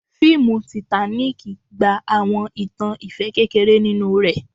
Fiimu Titanic gba awọn itan ifẹ kekere ninu rẹ